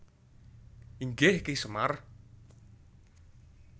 Inggih Ki Semar